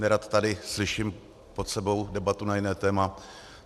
Nerad tady slyším pod sebou debatu na jiné téma.